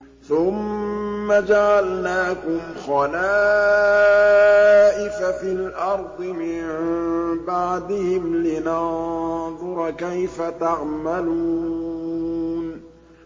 ثُمَّ جَعَلْنَاكُمْ خَلَائِفَ فِي الْأَرْضِ مِن بَعْدِهِمْ لِنَنظُرَ كَيْفَ تَعْمَلُونَ